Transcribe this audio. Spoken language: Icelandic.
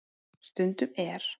Stundum er